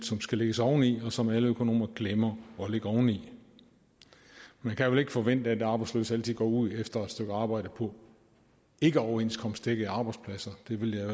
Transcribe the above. som skal lægges oveni og som alle økonomer glemmer at lægge oveni man kan vel ikke forvente at arbejdsløse altid går ud efter et stykke arbejde på ikkeoverenskomstdækkede arbejdspladser det ville jeg